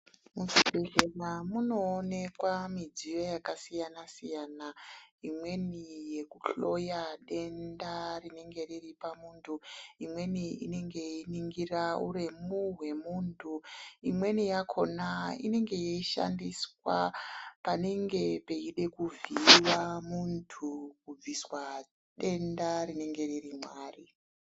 Mu zvibhedhleya muno onekwa midziyo yaka siyana siyana imweni yeku hloya denda rinenge riripa muntu imweni inenge yei ningira uremu hwe muntu imweni yakona inenge yei shandiswa panenge peida kuvhiyiwa muntu ku bviswa denda rinenge riri ma ari.